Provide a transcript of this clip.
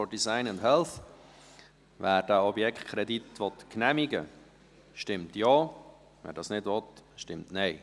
Wer den Objektkredit genehmigen will, stimmt Ja, wer dies nicht will, stimmt Nein.